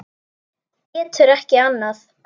Getur ekki annað.